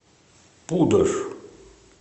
пудож